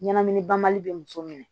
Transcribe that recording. Ɲɛnamini banbali bɛ muso minɛ